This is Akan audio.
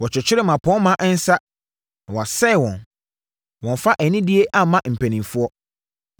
Wɔkyekyere mmapɔmma nsa na wɔasɛn wɔn; wɔmmfa anidie mma mpanimfoɔ.